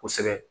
Kosɛbɛ